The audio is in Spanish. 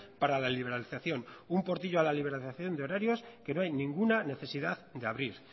para la liberalización un portillo a la liberalización de horarios que no hay ninguna necesidad de abrir